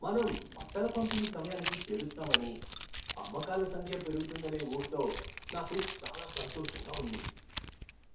మనం బట్టల పంపిణీ సమయానికి చేరుస్తామని, అమ్మకాల సంఖ్య పెరుగుతుందనే ఊహతో నాకు చాలా సంతోషంగా ఉంది.